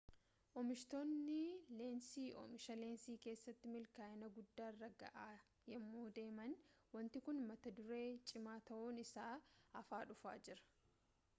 oomishtoonni leensii oomisha leensii keessatti milkaa'ina guddaarra ga'aa yemmuu deeman wanti kun mata duree cimaa ta'uun isaa hafaa dhufaa jira